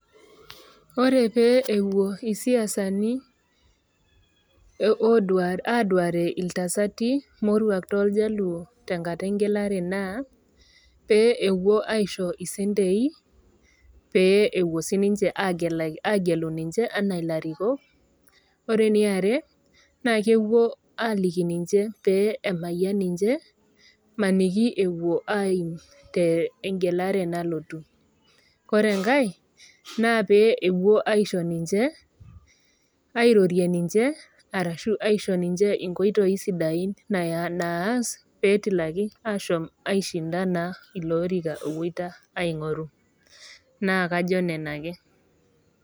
Ore pee ewuo isiasani aduare iltasati moruak toljaluo tenkata engelare naa pee ewuo aisho isentei pee ewuo sininche agelu ninche anaa ilarikok. Ore eniare naa ewuo aaliki ninche pee emayian ninche maniki ewuo aimu tengelare nalotu. Ore engai naa pee ewuo aisho ninche, airorie ninche arashu aisho ninche inkoitoi sidain naas petilaki ashom aishinda naa ilo orika owoita aing'oru, naa kajo nena ake.